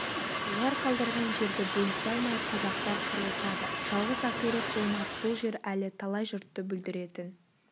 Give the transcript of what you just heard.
олар қалдырған жерді бөлісе алмай қазақтар қырылысады жалғыз ақирек болмас бұл жер әлі талай жұртты бүлдіретін